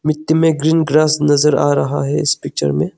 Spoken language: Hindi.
मे ग्रीन ग्रास नजर आ रहा है इस पिक्चर मे।